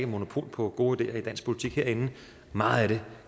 monopol på gode ideer i dansk politik herinde meget af det